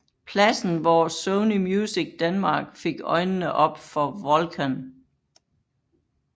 Pladsen hvor Sony Music Denmark fik øjnene op for Volkan